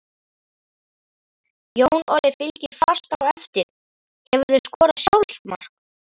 Jón Orri fylgir fast á eftir Hefurðu skorað sjálfsmark?